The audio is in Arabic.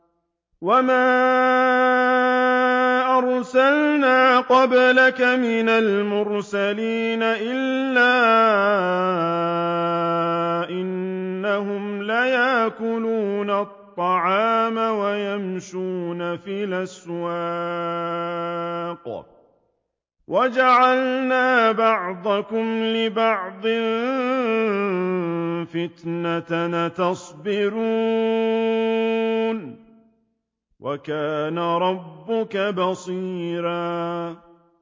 وَمَا أَرْسَلْنَا قَبْلَكَ مِنَ الْمُرْسَلِينَ إِلَّا إِنَّهُمْ لَيَأْكُلُونَ الطَّعَامَ وَيَمْشُونَ فِي الْأَسْوَاقِ ۗ وَجَعَلْنَا بَعْضَكُمْ لِبَعْضٍ فِتْنَةً أَتَصْبِرُونَ ۗ وَكَانَ رَبُّكَ بَصِيرًا